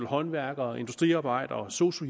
håndværkere industriarbejdere og sosu